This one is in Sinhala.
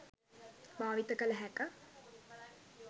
භාවිත කළ හැක.